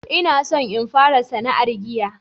ina son in fara sana'ar giya